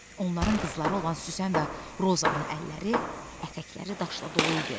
Onların qızları olan Süsən və Rozanın əlləri, ətəkləri daşla dolu idi.